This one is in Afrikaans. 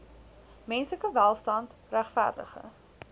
menslike welstand regverdige